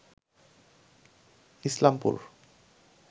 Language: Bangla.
ইসলামপুর